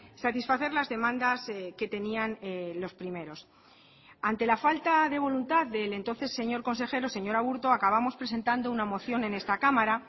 satisfacer las demandas que tenían los primeros ante la falta de voluntad del entonces señor consejero señor aburto acabamos presentando una moción en esta cámara